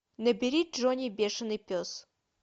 набери джонни бешеный пес